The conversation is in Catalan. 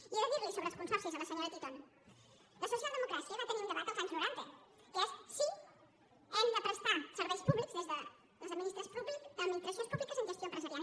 i he de dir li sobre els consorcis a la senyora titon la socialdemocràcia va tenir un debat als anys noranta que és si hem de prestar serveis públics des de les administracions públiques amb gestió empresarial